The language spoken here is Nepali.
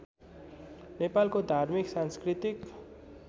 नेपालको धार्मिक सांस्कृतिक